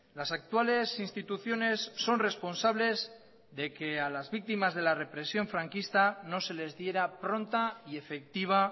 las actuales instituciones son responsables de que a las víctimas de la represión franquista no se les diera pronta y efectiva